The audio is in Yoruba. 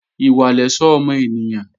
Ìwà lẹ̀ṣọ́ ọmọ ènìyàn